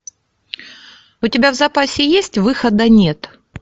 у тебя в запасе есть выхода нет